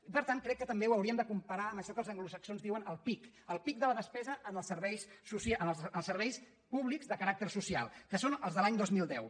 i per tant crec que també ho hauríem de comparar amb això que els an·glosaxons en diuen el peak el peak de la despesa en els serveis públics de caràcter social que són els de l’any dos mil deu